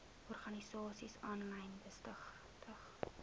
organisasies aanlyn besigtig